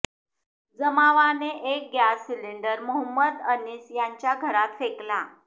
जमावाने एक gas cylinder Mohammad Anis यांच्या घरात फेकला